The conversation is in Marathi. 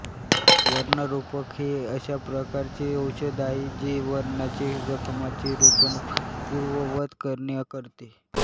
व्रणरोपक हे अशा प्रकारचे औषध आहे जे व्रणांचे जखमांचे रोपण पुर्ववत करणे करते